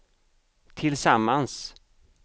tillsammans